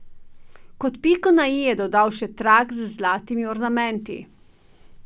Kot piko na i je dodal še trak z zlatimi ornamenti.